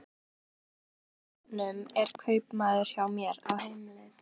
Strákurinn á brettunum er kaupamaður hjá mér, á heimleið.